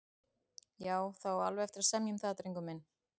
Já, það á alveg eftir að semja um það, drengur minn.